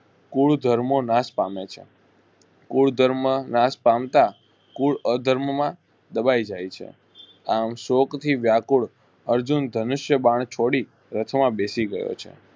કુળધર્મ નાશ પામે છે. કુળધર્મ નાશ પામતા કુલ અધર્મ માં દબાઈ જાય છે આમ શોકથી વ્યાકુળ અર્જુન ધનુષ્ય બાણ છોડી રથમાં બેસી ગયો છે.